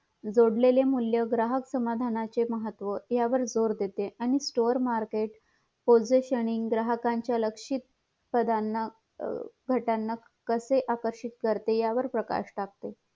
जोडलेले मूल्य ग्राहक समाधानाचे महत्व यावर जोर देते आणि store market कोणत्याही क्षणी ग्राहकाच्या लक्षित पडणं घटना कसे आकर्षित करते या वर जोर देते